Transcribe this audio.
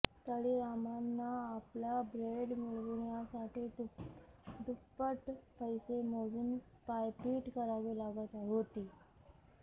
तळीरामांना आपला ब्रँड मिळविण्यासाठी दुप्पट पैसे मोजून पायपीट करावी लागत होती